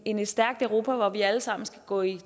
end et stærkt europa hvor vi alle sammen skal gå i